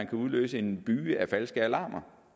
kunne udløse en byge af falske alarmer